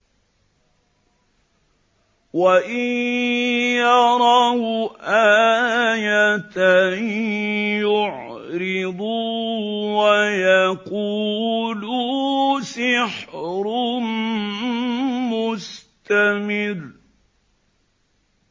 وَإِن يَرَوْا آيَةً يُعْرِضُوا وَيَقُولُوا سِحْرٌ مُّسْتَمِرٌّ